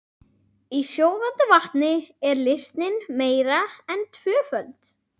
Í sjóðandi vatni er leysnin meira en tvöföld.